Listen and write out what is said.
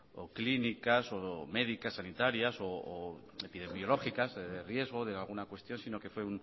o clínicas o médicas sanitarias epidemiológicas de riesgo de alguna cuestión sino que fue